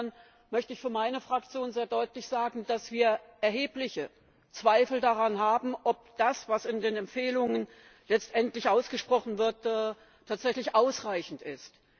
Insofern möchte ich für meine Fraktion sehr deutlich sagen, dass wir erhebliche Zweifel daran haben, ob das, was in den Empfehlungen letztendlich ausgesprochen wird, tatsächlich ausreichend ist.